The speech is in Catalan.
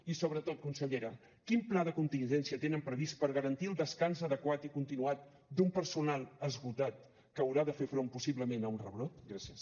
i sobretot consellera quin pla de contingència tenen previst per garantir el descans adequat i continuat d’un personal esgotat que haurà de fer front possiblement a un rebrot gràcies